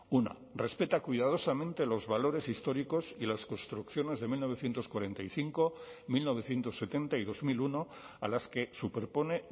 una respeta cuidadosamente los valores históricos y las construcciones de mil novecientos cuarenta y cinco mil novecientos setenta y dos mil uno a las que superpone